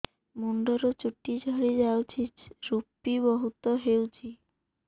ମୁଣ୍ଡରୁ ଚୁଟି ଝଡି ଯାଉଛି ଋପି ବହୁତ ହେଉଛି